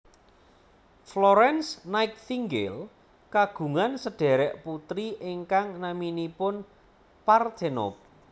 Florence Nightingale kagungan sedhèrèk putri ingkang naminipun Parthenope